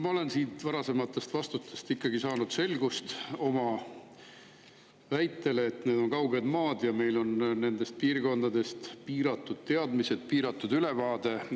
Ma olen siit varasematest vastustest ikkagi saanud kinnitust oma väitele, et need on kauged maad ja meil on nende piirkondade kohta piiratud teadmised, piiratud ülevaade.